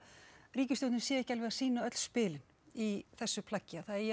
ríkisstjórnin sé ekki alveg að sýna öll spilin í þessu plaggi að það eigi